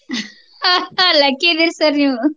lucky ಇದಿರ್ sir ನೀವು.